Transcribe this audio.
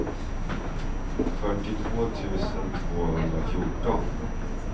fyrtiotvå tusen tvåhundrafjorton